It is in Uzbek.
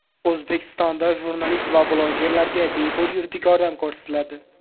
O‘zbekistonda jurnalist va blogerlarga bepul yuridik yordam ko‘rsatiladi.